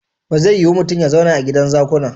Ba zai yiu mutun ya zauna a gidan zakuna.